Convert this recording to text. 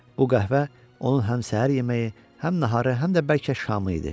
Bu qəhvə onun həm səhər yeməyi, həm naharı, həm də bəlkə şamı idi.